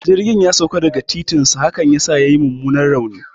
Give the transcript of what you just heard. Jirgin ya sauka daga kan titinsa, hakan yasa yayi mummunan rauni